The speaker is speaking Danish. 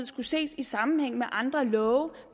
skulle ses i sammenhæng med andre love